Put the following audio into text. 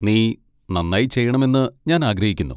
നീ നന്നായി ചെയ്യണമെന്ന് ഞാൻ ആഗ്രഹിക്കുന്നു.